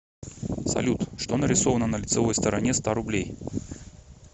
салют что нарисовано на лицевой стороне ста рублей